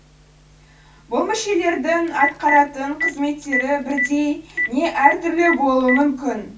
бұл мүшелердің атқаратын қызметтері бірдей не әртүрлі болуы мүмкін